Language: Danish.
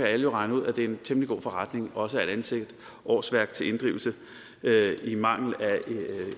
alle jo regne ud at det er en temmelig god forretning også at ansætte årsværk til inddrivelse i mangel af